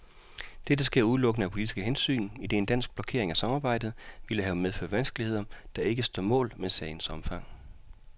Dette sker udelukkende af politiske hensyn, idet en dansk blokering af samarbejdet ville have medført vanskeligheder, der ikke står mål med sagens omfang.